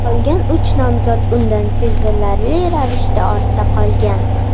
Qolgan uch nomzod undan sezilarli ravishda ortda qolgan.